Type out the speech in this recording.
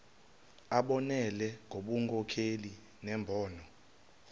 abonelele ngobunkokheli nembono